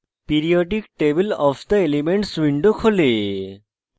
periodic table of the elements window খোলে